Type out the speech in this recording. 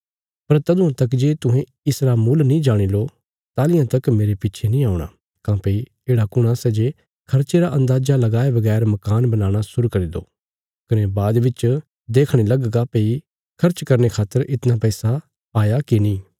पर तदुआं तक जे तुहें इसरा मुल नीं जाणी लो ताहलियां तक मेरे पिच्छे नीं औणा काँह्भई येढ़ा कुण आ सै जे खर्चे रा अन्दाजा लगाये बगैर मकान बनाणा शुरु करी दो कने बाद बिच देखणे लगगा भई खर्च करने खातर इतणा पैसा हाया की नीं